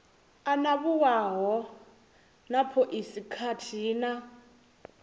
anavhuwaho na phoisi khathihi na